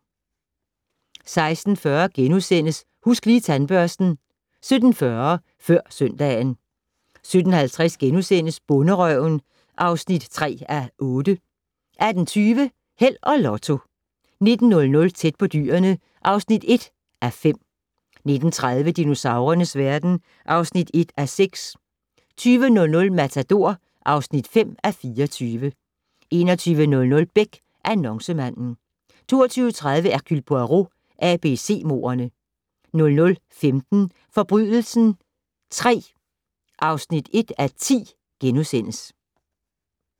16:40: Husk Lige Tandbørsten * 17:40: Før søndagen 17:50: Bonderøven (3:8)* 18:20: Held og Lotto 19:00: Tæt på dyrene (1:5) 19:30: Dinosaurernes verden (1:6) 20:00: Matador (5:24) 21:00: Beck - Annoncemanden 22:30: Hercule Poirot: ABC-mordene 00:15: Forbrydelsen III (1:10)*